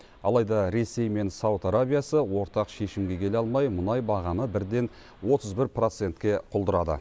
алайда ресей мен сауд арабиясы ортақ шешімге келе алмай мұнай бағамы бірден отыз бір процентке құлдырады